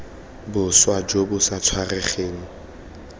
boswa jo bo sa tshwaregeng